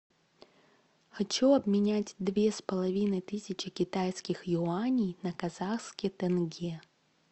хочу обменять две с половиной тысячи китайских юаней на казахский тенге